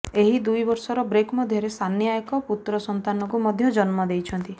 ଏହି ଦୁଇବର୍ଷର ବ୍ରେକ୍ ମଧ୍ୟରେ ସାନିଆ ଏକ ପୁତ୍ର ସନ୍ତାନକୁ ମଧ୍ୟ ଜନ୍ମ ଦେଇଛନ୍ତି